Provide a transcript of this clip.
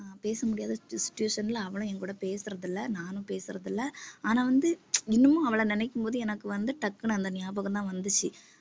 பேச முடியாத situation ல அவளும் என் கூட பேசறது இல்லை நானும் பேசறது இல்லை ஆனா வந்து இன்னமும் அவளை நினைக்கும்போது எனக்கு வந்து டக்குனு அந்த ஞாபகம்தான் வந்துச்சு